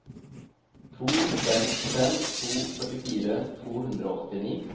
to fem fem to førtifire to hundre og åttini